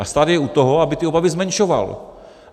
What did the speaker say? A stát je od toho, aby ty obavy zmenšoval.